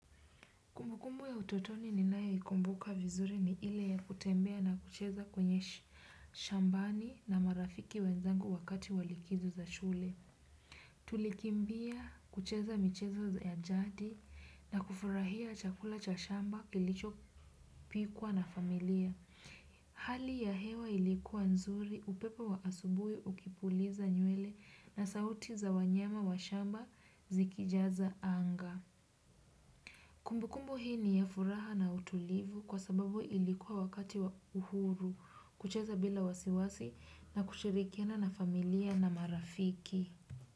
Kumbu kumbu ya utotoni ninayoikumbuka vizuri ni ile ya kutembea na kucheza kwenye shambani na marafiki wenzangu wakati wa likizo za shule. Tulikimbia kucheza michezo ya jadi na kufurahia chakula cha shamba kilichopikwa na familia. Hali ya hewa ilikuwa nzuri upepo wa asubuhi ukipuliza nywele na sauti za wanyama wa shamba zikijaza anga. Kumbu kumbu hii ni ya furaha na utulivu kwa sababu ilikuwa wakati wa uhuru kucheza bila wasiwasi na kushirikina na familia na marafiki.